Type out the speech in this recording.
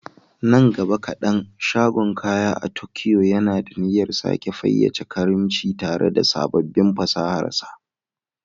Nan gaba kadan, shagon kaya a Tokyo yana da niyyar sake fayyace karimci tare da sabbin fasahar sa.